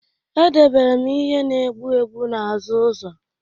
Edebere m ihe na-egbu egbu n'azụ ụzọ